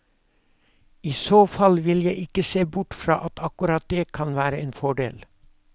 I så fall vil jeg ikke se bort fra at akkurat det kan være en fordel.